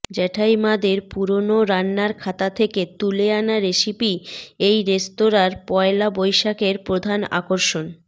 জেঠ্যাইমাদের পুরনো রান্নার খাতা থেকে তুলে আনা রেসিপিই এই রেস্তোরাঁর পয়লা বৈশাখের প্রধান আকর্ষণ